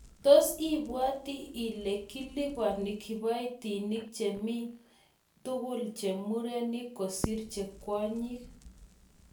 Toos ibwati ile kiliboni kiboitinik che omi tugul che murenik kosiir che kwonyik